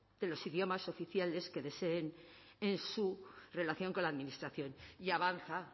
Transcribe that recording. de los idiomas oficiales que deseen en su relación con la administración y avanza